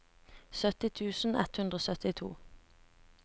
sytti tusen ett hundre og syttito